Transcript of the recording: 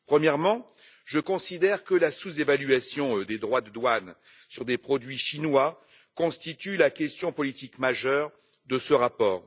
Premièrement, je considère que la sous évaluation des droits de douane sur des produits chinois constitue la question politique majeure de ce rapport.